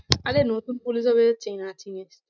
আরে police officer চেনে না কি?